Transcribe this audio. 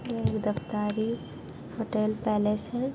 ये Daftari hotel palace है ।